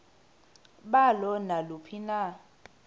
balo naluphi na